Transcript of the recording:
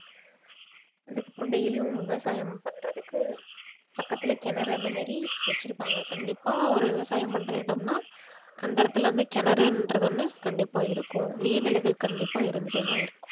அதுக்கப்புறம் daily யும் விவசாயம் பண்றதுக்கு பக்கத்திலே கிணறு அந்த மாதிரி வெச்சிருப்பாங்க கண்டிப்பா ஒரு விவசாயம் பண்ற இடம்னா அந்த இடத்துல வந்து கிணறுன்றது ஒண்ணு கண்டிப்பா இருக்கும் நீர் நிலைகள் கண்டிப்பா இருந்துட்டே தான் இருக்கும்